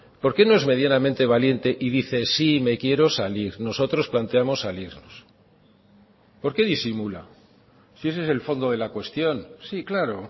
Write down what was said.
por qué no es medianamente valiente y dice sí me quiero salir nosotros planteamos salirnos por qué disimula si ese es el fondo de la cuestión sí claro